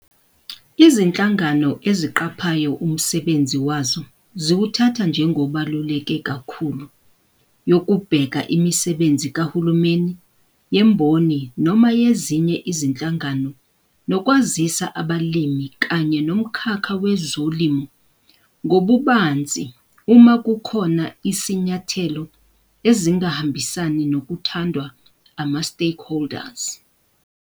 Izinhlangano eziqaphayo umsebnzi wazo ziwuthatha njengobaluleke kakhulu yokubheka imisebenzi kahulumeni, yemboni, noma yezinye izinhlangano nokwazisa abalimi kanye nomkhakha wezolimo ngobubanzi uma kukhona isinyathelo ezingahambisani nokuthandwa ama-stakeholders.